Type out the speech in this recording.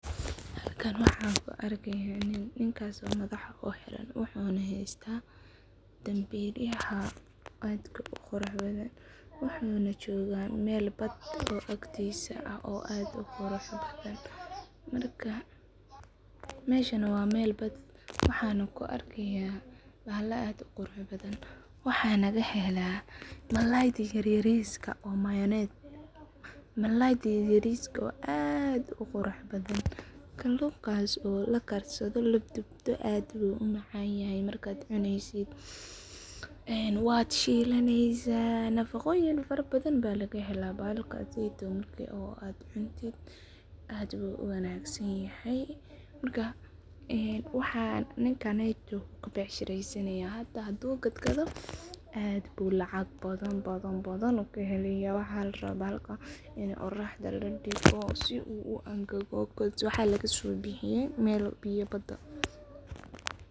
Halkan waxan ku arki haya nin, ninkas oo madhaxa u xiran wuxuna hastaa danbil yaha aadka u quruxda badan, wuxuna joga meel bad agtisa ah oo aad u qurux badan, marka meshana waa meel bad ah waxana ku arkeya bahala aad u qurux badan, waxana laga hela mal malalayda yar yariska ah oo magnet malalayda yariska oo aad u qurux badan, kalunkas oo la karsadho ladubto aad bu u macanyahay marka aad cuneysid, ee waa shilaneysa nafaqoyin fara badan ba laga hela bahashan, markaseto Marka aad cuntid, aad ayu u wanagsan yahay marka waxaa nin kaneto u ka becshireysanayo hada hadu gad bu lacag badan badan bu kahelaya waxaa la rawa in oraxda ladigo si u uangago, because waxaa laga so bixiye meel biya bada ah.